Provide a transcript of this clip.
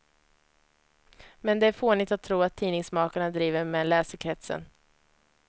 Men det är fånigt att tro att tidningsmakarna driver med läsekretsen.